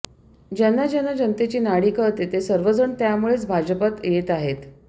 ज्यांना ज्यांना जनतेची नाडी कळते ते सर्वजण त्यामुळेच भाजपत येत आहेत